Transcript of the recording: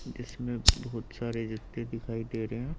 जिसमें बहुत सारे जूते दिखाई दे रहे हैं।